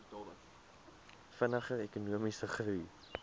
vinniger ekonomiese groei